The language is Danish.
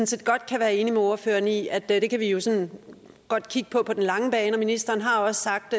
set godt kan være enig med ordføreren i at det kan vi jo sådan godt kigge på på den lange bane og ministeren har også sagt